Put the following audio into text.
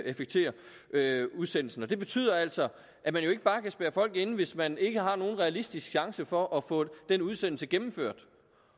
effektuere udsendelsen det betyder altså at man jo ikke bare kan spærre folk inde hvis man ikke har nogen realistisk chance for at få den udsendelse gennemført